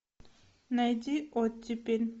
найди оттепель